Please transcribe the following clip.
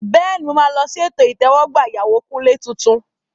Bẹ́ẹ̀ni, mo máa lọ sí ètò ìtẹ́wọ́gbà ìyàwó Kunle tuntun.